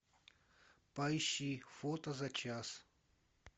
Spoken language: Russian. поищи фото за час